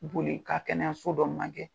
Boli i ka kɛnɛyɛso dɔ ma gɛ.